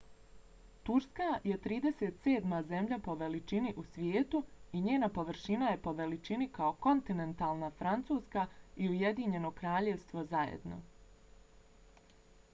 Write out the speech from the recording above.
turska je 37. zemlja po veličini u svijetu i njena površina je po veličini kao kontinentalna francuska i ujedinjeno kraljevstvo zajedno